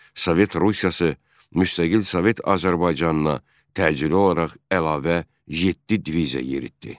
Sovet Rusiyası müstəqil Sovet Azərbaycanına təcili olaraq əlavə yeddi diviziya yeritdi.